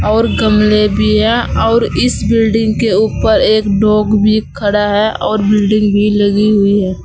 और गमले भी है और इस बिल्डिंग के ऊपर एक डॉग भी खड़ा है और बिल्डिंग भी लगी हुई है।